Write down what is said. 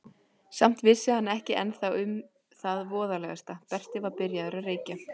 Samt vissi hann ekki ennþá um það voðalegasta: Berti var byrjaður að reykja.